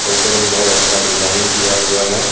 ऊपर में बहुत अच्छा डिजाइन किया हुआ है।